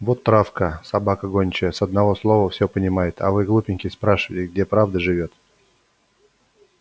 вот травка собака гончая с одного слова все понимает а вы глупенькие спрашиваете где правда живёт